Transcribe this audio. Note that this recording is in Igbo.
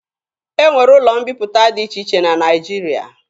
E nwere ụlọ mbiputa dị iche iche na Naịjirịa.